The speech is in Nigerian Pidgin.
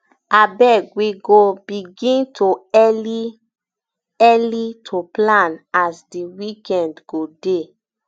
abeg we go begin early to early to plan as di weekend go dey